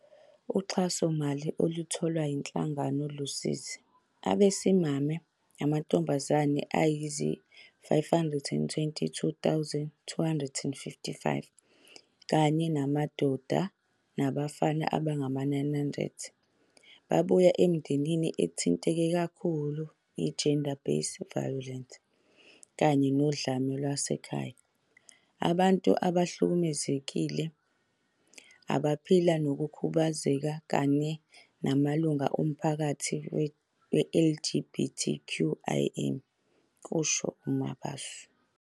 Uxhasomali olutholwa yinhlangano lusiza abesimame namantombazane ayizi-522 255 kanye namadoda nabafana abangama-900 ababuya emindenini ethinteke kakhulu yi-GBV kanye nodlame lwasekhaya, abantu abahlukumezekile abaphila nokukhubazeka, kanye namalunga omphakathi we-LGBTQIA, kusho uMabaso.